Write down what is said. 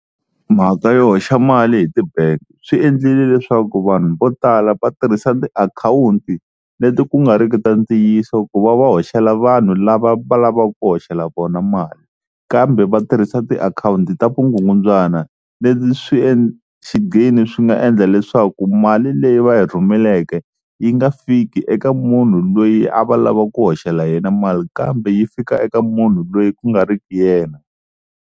Mhaka yo hoxa mali hi ti-bank swi endlile leswaku vanhu vo tala va tirhisa tiakhawunti leti ku nga riki ta ntiyiso ku va va hoxela vanhu lava va lavaka ku hoxela vona mali, kambe va tirhisa tiakhawunti ta vugungundzwana leti swi xigino swi nga endla leswaku mali leyi va yi rhumeleke yi nga fiki eka munhu loyi a va lava ku hoxela yena mali kambe yi fika eka munhu loyi ku nga riki yena.